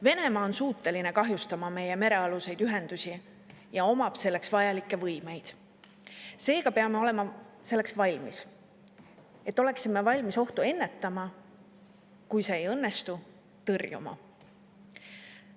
Venemaa on suuteline kahjustama meie merealuseid ühendusi ja omab selleks vajalikke võimeid, seega peame olema valmis ohtu ennetama, kui see ei õnnestu, siis tõrjuma.